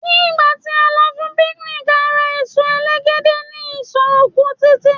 ní gba ti a lọ fún picnic a ra eso elegede ni isọ oku titi